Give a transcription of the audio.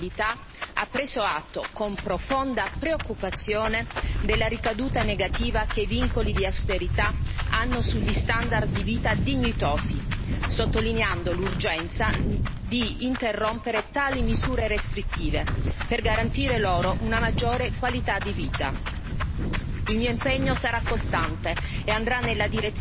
Il Comitato delle Nazioni Unite per i diritti delle persone con disabilità ha preso atto con profonda preoccupazione della ricaduta negativa che i vincoli di austerità hanno sugli standard di vita dignitosi, sottolineando l'urgenza di interrompere tali misure restrittive per garantire loro una maggiore qualità di vita.